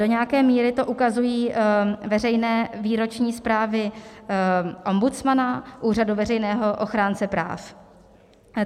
Do nějaké míry to ukazují veřejné výroční zprávy ombudsmana, Úřadu veřejného ochránce práv.